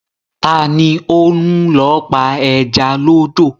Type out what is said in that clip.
Ta ni ó ń lọ pa ẹja lódò?